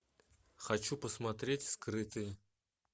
хочу посмотреть скрытые